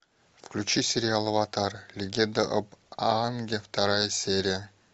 включи сериал аватар легенда об аанге вторая серия